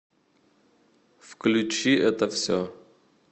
включи это все